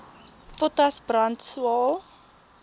potas brand swael